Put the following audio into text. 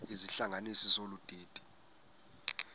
izihlanganisi zolu didi